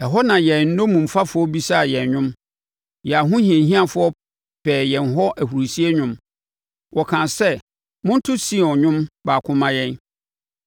ɛhɔ na yɛn nnommumfafoɔ bisaa yɛn nnwom, yɛn ahohiahiafoɔ pɛɛ yɛn hɔ ahurisie nnwom; wɔkaa sɛ, “Monto Sion nnwom baako mma yɛn!”